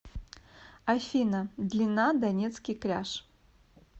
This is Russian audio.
афина длина донецкий кряж